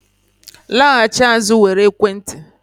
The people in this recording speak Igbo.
laghachi azụ were ekwentị